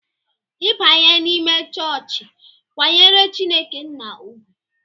I banye n'ime chọọchị, kwanyere Chineke nna ugwu!